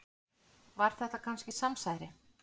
Var þetta kannski samsæri?